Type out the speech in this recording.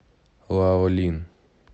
лаолин